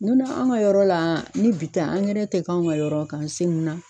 N donna an ka yɔrɔ la ni bitɛ tɛ k'an ka yɔrɔ k'an .